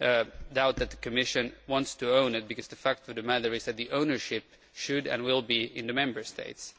doubt that the Commission wants to own it, but the fact of the matter is that the ownership should and will be in the Member States.